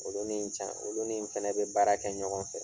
Olu ni n can olu ni n fɛnɛ be baara kɛ ɲɔgɔn fɛ.